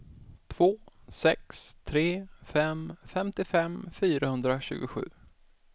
två sex tre fem femtiofem fyrahundratjugosju